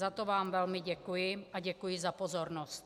Za to vám velmi děkuji a děkuji za pozornost.